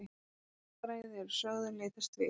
Menningarfræði eru sögð leitast við